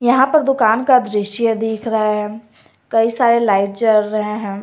यहां पर दुकान का दृश्य दिख रहा है कई सारे लाइट जल रहे हैं।